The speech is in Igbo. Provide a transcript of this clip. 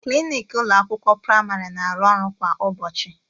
Klinik ụlọ akwụkwọ praịmarị na arụ ọrụ kwa ụbọchị